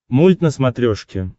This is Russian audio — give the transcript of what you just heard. мульт на смотрешке